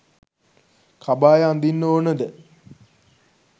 කබාය අඳින්න ඕනද?